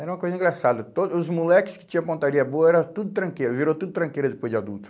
Era uma coisa engraçada, todos os moleques que tinham pontaria boa era tudo tranqueira, virou tudo tranqueira depois de adulto.